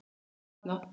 Því var hafnað.